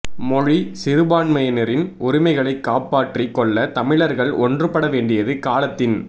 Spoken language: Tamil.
மொழி சிறுபான்மையினரின் உரிமைகளைக் காப்பாற்றிக் கொள்ள தமிழர்கள் ஒன்றுபட வேண்டியது காலத்தின்